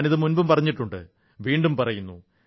ഞാനിത് മുമ്പും പറഞ്ഞിട്ടുണ്ട് വീണ്ടും പറയുന്നു